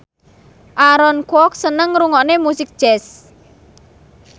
Aaron Kwok seneng ngrungokne musik jazz